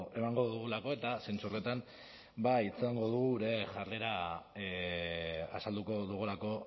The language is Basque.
emango dugulako eta zentzu horretan ba dugu gure jarrera azalduko dugulako